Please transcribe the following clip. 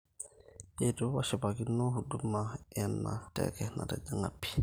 eitu ashipakino huduma ena teke natijinga pii,